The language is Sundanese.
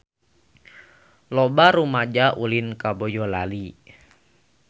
Loba rumaja ulin ka Boyolali